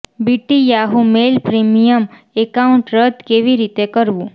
BT Yahoo mail premium account રદ કેવી રીતે કરવું